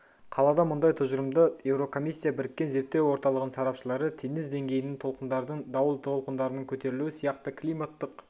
қалады мұндай тұжырымды еурокомиссия біріккен зерттеу орталығының сарапшылары теңіз деңгейінің толқындардың дауыл толқындарыныңкөтерілуі сияқты климаттық